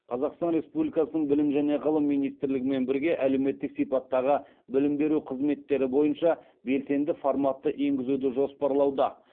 қазақстан республикасының білім және ғылым министрлігімен бірге әлеуметтік сипаттағы білім беру қызметтері бойынша белсенді форматты енгізуді жоспарлауда